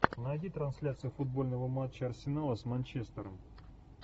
найди трансляцию футбольного матча арсенала с манчестером